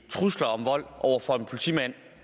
trusler om vold over for en politimand